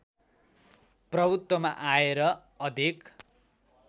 प्रभुत्वमा आए र अधिक